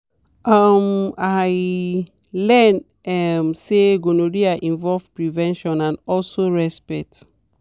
um i learn um say gonorrhea involve prevention and also respect.